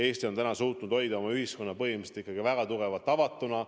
Eesti on suutnud hoida oma ühiskonna põhimõtteliselt ikkagi väga tugevalt avatuna.